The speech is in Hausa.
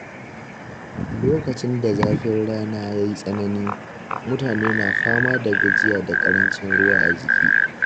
Lokacin da zafin rana ya yi tsanani, mutane na fama da gajiya da ƙarancin ruwa a jiki.